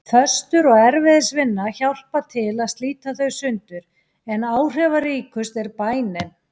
Föstur og erfiðisvinna hjálpa til að slíta þau sundur, en áhrifaríkust er bænin.